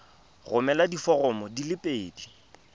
romela diforomo di le pedi